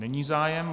Není zájem.